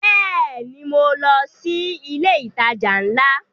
Bẹ́ẹ̀ni, mo lọ sí ilé ìtajà ńlá